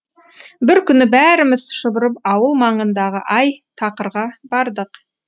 бір күні бәріміз шұбырып ауыл маңындағы ай тақырға бардық